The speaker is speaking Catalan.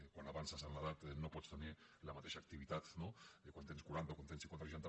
quan avances en l’edat no pots tenir la mateixa activitat no que quan en tens quaranta quan en tens cinquanta o seixanta